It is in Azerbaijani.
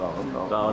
Dağın aşağısında.